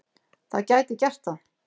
Það gæti gert það.